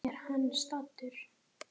Sokkinn í bálk blinda Eng